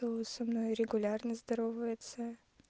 со мной регулярно здоровается